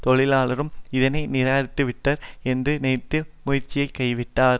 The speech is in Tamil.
தொழிலாளரும் இதனை நிராகரித்துவிடுவர் என்று நினைத்து முயற்சியை கைவிட்டார்